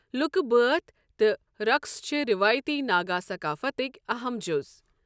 لُکہٕ بٲتھ تہٕ رقٕص چھِ رِوٲیتی ناگا ثقافتٕکۍ اہم جُز۔